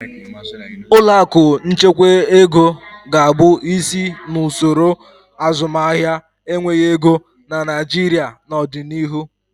Ụlọ akụ nchekwa ego ga-abụ isi n'usoro azụmahịa enweghị ego na Naịjirịa n'ọdịnihu.